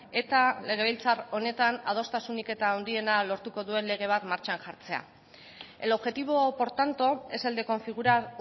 eta legebiltzar honetan adostasunik eta handiena lortuko duen lege bat martxan jartzea el objetivo por tanto es el de configurar